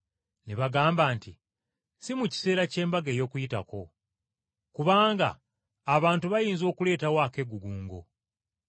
Ne bagamba nti, “Si mu kiseera ky’embaga y’Okuyitako, kubanga abantu bayinza okuleetawo akeegugungo.”